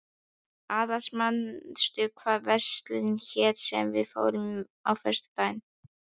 Aðils, manstu hvað verslunin hét sem við fórum í á föstudaginn?